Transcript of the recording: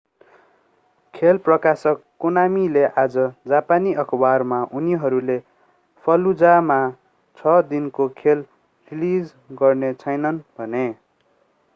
खेल प्रकाशक konamiले आज जापानी अखबारमा उनीहरूले fallujah मा छ दिनको खेल रिलीज गर्ने छैनन्‌ भने।